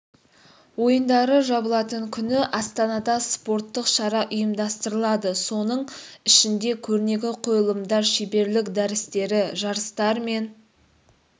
ойындары жабылатын күні астанада спорттық шара ұйымдастырылады соның ішінде көрнекі қойылымдар шеберлік дәрістері жарыстар мен